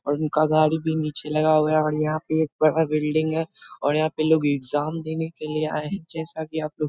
और उनका गाड़ी भी नीचे लगा हुआ है और यहाँ पे एक बड़ा बिल्डिंग है और यहाँ पे लोग एग्जाम देने के लिए आए हैं। जैसा कि आप लोग --